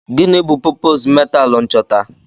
Gịnị bụ popoozu metaalu nchọta?